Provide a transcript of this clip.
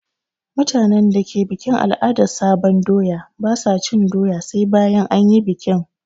Mutanen da ke bukin al'adan sabon doya ba su cin doya sai bayan an yi bikin.